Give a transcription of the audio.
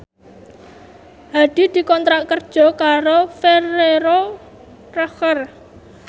Hadi dikontrak kerja karo Ferrero Rocher